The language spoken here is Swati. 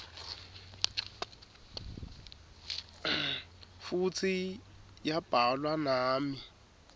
futsi yabhalwa nami